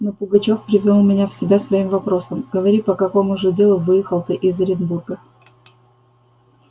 но пугачёв привёл меня в себя своим вопросом говори по какому же делу выехал ты из оренбурга